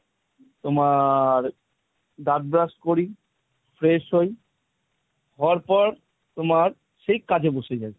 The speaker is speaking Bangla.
তোমার দাঁত brush করি, fresh হই হবার পর তোমার সেই কাজে বসে যাবে।